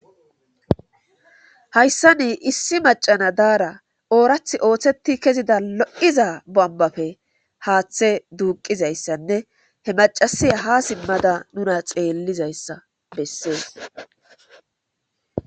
Hayssa nii issi macana daara oorath ooththetti kezida lo7iza bombafe haaththe duuqizayssanne he macasiya ha simmada nuna xeellizayssa bessees.